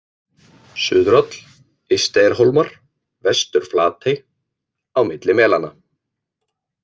Suðuráll, Ysteyjarhólmar, Vestur-Flatey, Á milli melanna